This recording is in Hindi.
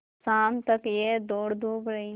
शाम तक यह दौड़धूप रही